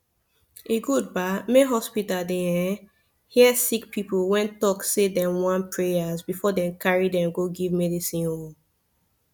e good bah make hospita dey errn hear sicki pipu wen talk say dem wan prayas befor dem carry dem go give midicine oh